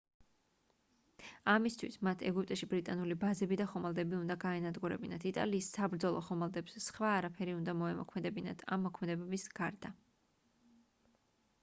ამისთვის მათ ეგვიპტში ბრიტანული ბაზები და ხომალდები უნდა გაენადგურებინათ იტალიის საბრძოლო ხომალდებს სხვა არაფერი უნდა მოემოქმედებინათ ამ მოქმედებების გარდა